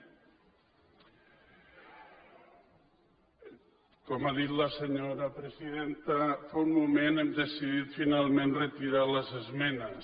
i com ha dit la senyora presidenta fa un moment hem decidit finalment retirar les esmenes